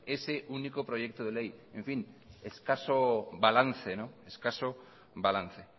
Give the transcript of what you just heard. ese único proyecto de ley en fin escaso balance